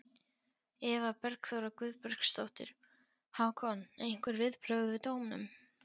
Eva Bergþóra Guðbergsdóttir: Hákon, einhver viðbrögð við dómnum?